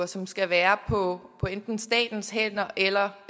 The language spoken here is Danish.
som skal være på enten statens hænder eller